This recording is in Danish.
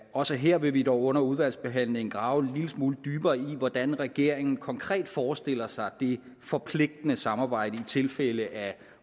også her vil vi dog under udvalgsbehandlingen grave en lille smule dybere i hvordan regeringen konkret forestiller sig det forpligtende samarbejde i tilfælde af